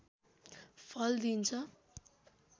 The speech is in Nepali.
फल दिइन्छ